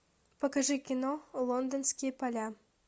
покажи кино лондонские поля